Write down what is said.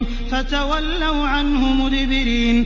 فَتَوَلَّوْا عَنْهُ مُدْبِرِينَ